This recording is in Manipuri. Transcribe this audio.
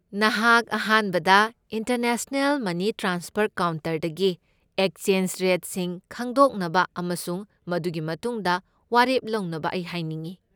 ꯅꯍꯥꯛ ꯑꯍꯥꯟꯕꯗ ꯏꯟꯇꯔꯅꯦꯁꯅꯦꯜ ꯃꯅꯤ ꯇ꯭ꯔꯥꯟꯁꯐꯔ ꯀꯥꯎꯟꯇꯔꯗꯒꯤ ꯑꯦꯛꯁꯆꯦꯟꯖ ꯔꯦꯠꯁꯤꯡ ꯈꯪꯗꯣꯛꯅꯕ ꯑꯃꯁꯨꯡ ꯃꯗꯨꯒꯤ ꯃꯇꯨꯡꯗ ꯋꯥꯔꯦꯞ ꯂꯧꯅꯕ ꯑꯩ ꯍꯥꯏꯅꯤꯡꯢ꯫